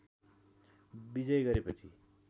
विजय गरेपछि